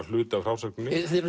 hluti af frásögninni